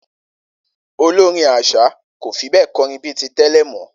Olórin às̩à kò fi bé̩è̩ ko̩rin bí i tè̩lè̩ mó̩